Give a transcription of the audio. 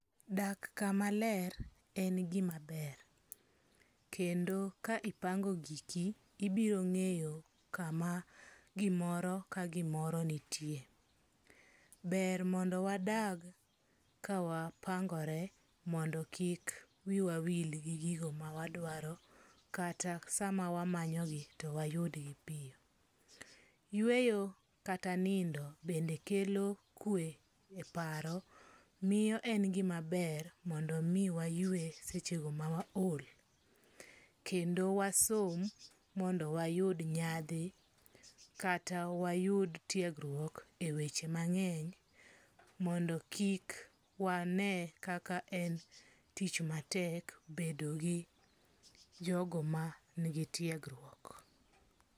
Dak kamaler en gimaber, kendo ka ipango giki ibirongeyo kama gimoro amoro nitie, ber mondo wadag kawapangore mondo kik wiwawil gigo mawaduaro kata samawamanyogi to wayudgi, yueyo kata nindo bende kelo kwe e paro miyo en gimaber mondo mi wa ywe sechego ma waol, kendo wasom mondo wayud nyathi kata wayud tiegruok e weche mange'ny mondo kik wane kaka en tich matek bedogi jogo manigi tiegruok,